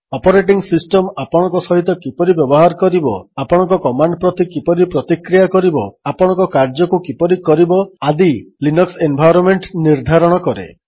operating system ଆପଣଙ୍କ ସହିତ କିପରି ବ୍ୟବହାର କରିବ ଆପଣଙ୍କ କମାଣ୍ଡ୍ ପ୍ରତି କିପରି ପ୍ରତିକ୍ରିୟା କରିବ ଆପଣଙ୍କ କାର୍ଯ୍ୟକୁ କିପରି କରିବ ଆଦି ଲିନକ୍ସ ଏନ୍ଭାଇରୋନ୍ମେଣ୍ଟ ନିର୍ଦ୍ଧାରଣ କରେ